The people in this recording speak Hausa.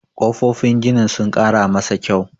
kofofin ginin sun Kara masa kyau